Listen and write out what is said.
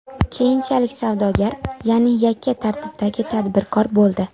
Keyinchalik savdogar, ya’ni yakka tartibdagi tadbirkor bo‘ldi.